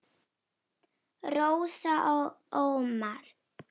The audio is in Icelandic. Rósa og Ómar.